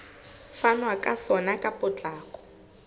fanwa ka sona ka potlako